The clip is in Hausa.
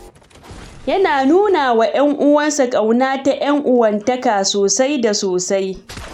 Yana nuna wa 'yanuwansa ƙauna ta 'yan uwantaka sosai da sosai